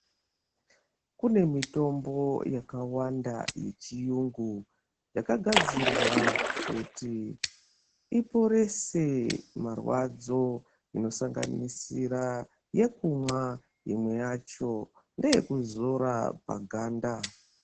Kune mitombo yakawanda yechiyungu yakagadzirwa kuti iporese marwadzo imwe inosanganisira yekumwa imwe yacho ngeyekuzora paganda.